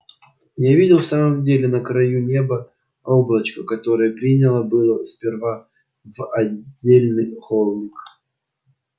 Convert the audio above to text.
я видел в самом деле на краю неба облачко которое принял было сперва за отдельный холм